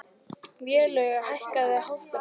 Vélaug, hækkaðu í hátalaranum.